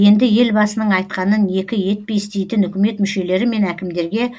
енді елбасының айтқанын екі етпей істейтін үкімет мүшелері мен әкімдерге